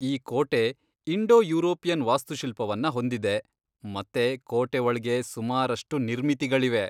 ಈ ಕೋಟೆ Indo European ವಾಸ್ತುಶಿಲ್ಪವನ್ನ ಹೊಂದಿದೆ ಮತ್ತೆ ಕೋಟೆ ಒಳ್ಗೆ ಸುಮಾರಷ್ಟು ನಿರ್ಮಿತಿಗಳಿವೆ.